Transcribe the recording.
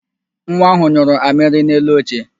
Nwa ahụ nyụrụ amịrị n'elu oche